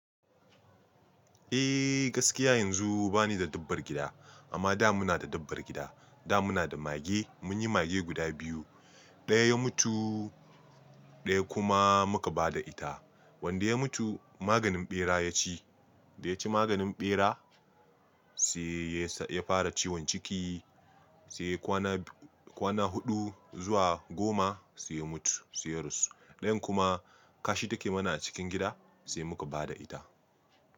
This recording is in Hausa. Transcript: Eh gaskiya yanzu ba ni da dabbar gida amma da muna da dabbar gida. Da muna da mage munyi mage guda biyu, ɗaya ya mutu ɗaya kuma muka ba da ita. Wanda ya mutu maganin ɓera ya ci, da ya ci maganin ɓera sai ya fara ciwon ciki sai kwana huɗu zuwa goma sai ya mutu, sai ya rasu. Ɗayan kuma kashi take mana a cikin gida sai muka ba da ita.